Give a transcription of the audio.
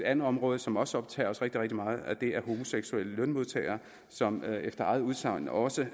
andet område som også optager os rigtig rigtig meget det er homoseksuelle lønmodtagere som efter eget udsagn også